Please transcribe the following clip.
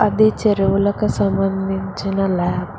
ఇది చెరువులకు సంబంధించిన ల్యాబ్ .